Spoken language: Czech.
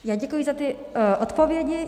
Já děkuji za ty odpovědi.